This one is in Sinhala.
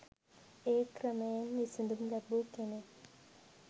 ඒ ක්‍රමයෙන් විසඳුම් ලැබූ කෙනෙක්